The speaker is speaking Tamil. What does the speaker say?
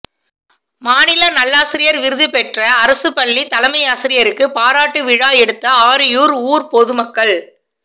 மாநில நல்லாசிரியர் விருது பெற்ற அரசுப்பள்ளி தலைமையாசிரியருக்கு பாராட்டு விழா எடுத்த ஆரியூர் ஊர்ப்பொதுமக்கள்